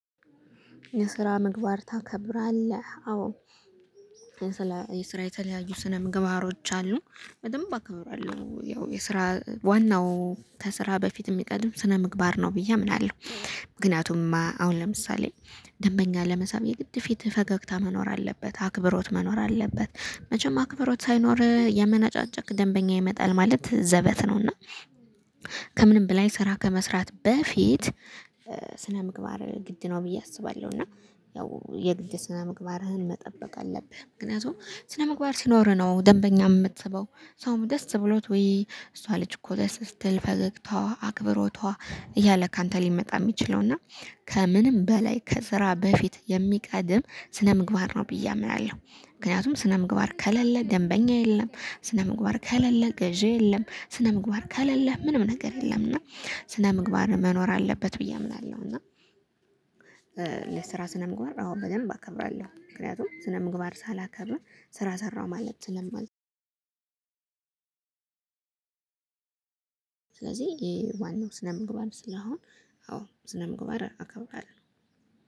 የስራ ምግባር ታከብራለህ? አዎ። የስራ የተለያዩ ስነ ምግባሮች አሉ። በደንብ አከብራለሁ፤ ያው የስራ ዋናው ከስራ በፊት የሚቀድም ስነ ምግባር ነው ብዬ አምናለሁ። ምክንያቱም አሁን ለምሳሌ ደንበኛ ለመሳብ የግድ ፊት ፈገግታ መኖር አለበት፤ አክብሮት መኖር አለበት። መቸም አክብሮት ሳይኖር እያመናጫጨክ ደንበኛ ይመጣል ማለት ዘበት ነው። እና ከምንም በላይ ስራ ከመስራት በፊት ስነምግባር ግድ ነው ብዬ አስባለሁ። እና ያው የግድ ስነምግባርህን መጠበቅ አለብህ። ምክንያቱም ስነምግባር ሲኖርህ ነው ደንበኛ የምትስበው። ሰውም ደስ ብሎት፤ ወይ እሷ ልጅ እኮ ደስ ስትል፤ ፈገግታዋ፣ አክብሮቷ እያለ ካንተ ሊመጣ የሚችለው። እና ከምንም በላይ ከስራ በፊት የሚቀድም ስነምግባር ነው ብዬ አምናለሁ። ምክንያቱም ስነምግባር ከለለ ደንበኛ የለም። ስነምግባር ከለለ ገዢ የለም። ስነምግባር ከለለ ምንም ነገር የለም። እና ስነምግባር መኖር አለበት ብዬ አምናለሁ። እና ለስራ ስነምግባር አሁን በደንብ አከብራለሁ። ምክንያቱም ስነምግባር ሳላከብር ስራ ሰራሁ ማለት ስለማልችል። ስለዚህ ይሄ ዋናው ስነምግባር ስለሆን፣ አዎ ስነምግባር አከብቃለሁ።